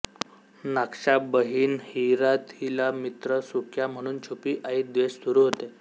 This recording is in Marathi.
नाक्शा बहीण हिइरा तिला मित्र सुक्या म्हणून छुपी आई द्वेष सुरू होते